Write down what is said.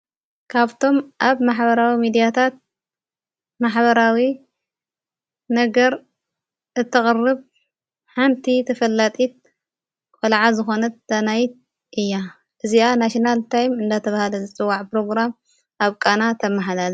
ካብቶም ኣብ ማኅበራዊ ሚዲያታት ማሕበራዊ ነገር እተቐርብ ሓንቲ ተፈላጢት ቈልዓ ዘኾነት ዳናይት እያ። እዚኣ ናስናል ታይም እንዳተብሃለ ዘፅዋዕ ጵሮግራም ኣብ ቃና ተመሓላልፍ።